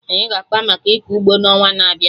Anyị ga-akpa maka ịkọ ụgbọ na ọnwa n'abịa